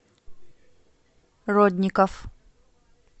родников